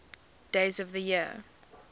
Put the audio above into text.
days of the year